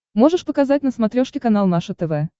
можешь показать на смотрешке канал наше тв